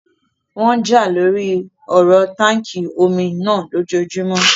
Wọ́n n jà lóri ọ̀rọ táànkì omi náà lójojúmọ́